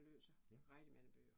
Og læser rigtig mange bøger